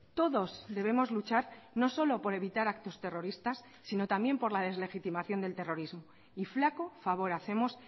todos debemos luchar no solo por evitar actos terroristas sino también por la deslegitimación del terrorismo y flaco favor hacemos